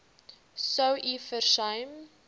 sou u versuim